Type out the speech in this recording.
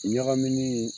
Ɲagaminen